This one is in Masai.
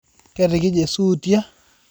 Ketikije suutiai